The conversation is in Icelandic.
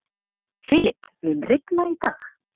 Filip, mun rigna í dag?